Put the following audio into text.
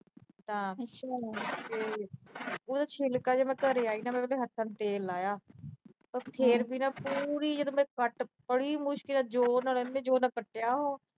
ਤਾਂ ਤੇ ਉਹਦਾ ਛਿਲਕਾ ਨਾ, ਮੈਂ ਘਰੇ ਆਈ ਨਾ ਮੈਂ ਹੱਥਾਂ ਨੂੰ ਤੇਲ ਲਾਇਆ, ਪਰ ਫਿਰ ਵੀ ਨਾ ਪੂਰੀ ਜਦ ਮੈਂ ਕੱਟ ਬੜੀ ਮੁਸ਼ਕਲ ਨਾਲ, ਇੰਨੇ ਜੋਰ ਨਾਲ ਕੱਟਿਆ